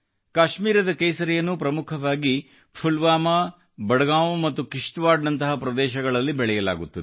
ಕಾಶ್ಮೀರದ ಕೇಸರಿಯನ್ನು ಪ್ರಮುಖವಾಗಿ ಪುಲ್ವಾಮಾ ಬಡಗಾಂ ಮತ್ತು ಕಿಶತ್ ವಾಡ್ ನಂತಹ ಪ್ರದೇಶಗಳಲ್ಲಿ ಬೆಳೆಯಲಾಗುತ್ತದೆ